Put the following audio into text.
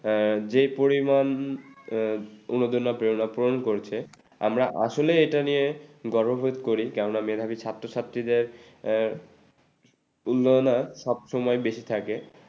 আ যে পরিমানে উদারন প্রেরণ করছে আমরা আসলে এটা নিয়ে গর্ববোধ করি কেননা মেধাবী ছাত্রছাত্রীদের এ উন্নয়ন আর সবসময় বেশি থাকে